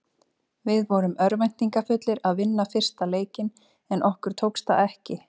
Við vorum örvæntingarfullir að vinna fyrsta leikinn en okkur tókst það ekki.